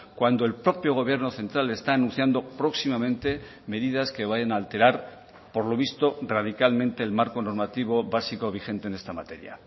cuando el propio gobierno central está anunciando próximamente medidas que vayan a alterar por lo visto radicalmente el marco normativo básico vigente en esta materia